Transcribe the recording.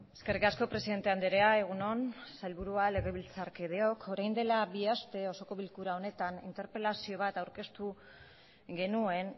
eskerrik asko presidente andrea egun on sailburua legebiltzarkideok orain dela bi aste osoko bilkura honetan interpelazio bat aurkeztu genuen